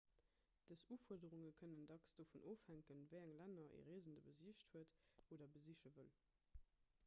dës ufuerderunge kënnen dacks dovun ofhänken wéi eng länner e reesende besicht huet oder besiche wëll